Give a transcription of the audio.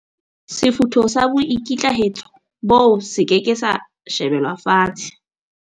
Sefutho sa boikitlaetso boo se ke ke sa shebelwa fatshe.